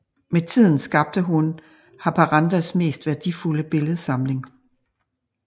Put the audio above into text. Med tiden skabte hun Haparandas mest værdifulde billedsamling